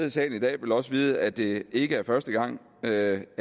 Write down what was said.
i salen i dag vil også vide at det ikke er første gang der